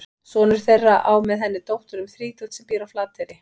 Sonur þeirra á með henni dóttur um þrítugt sem býr á Flateyri.